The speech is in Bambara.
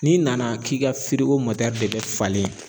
N'i nana k'i ka de bɛ falen